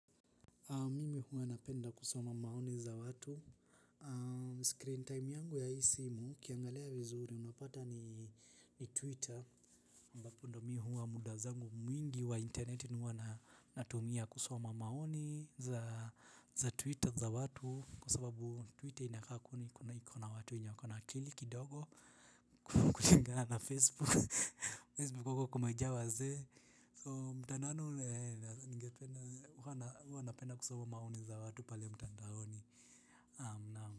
Mimi huwa napenda kusoma maoni za watu. Screen time yangu ya hi simu ukiangalia vizuri unapata ni twitter. Ambapo ndo mi huwa muda zangu mwingi wa internet huwa na natumia kusoma maoni za twitter za watu kwa sababu twitter inakaa kuna iko na watu wenye wako na akili kidogo kuligana na facebook. Facebook huko kumejaa wazee so mtandao ule ningependa huwa na huwa napenda kusoma maoni za watu pale mtandaoni am naamu.